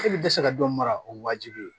E tɛ se ka dɔ mara o waajibi ye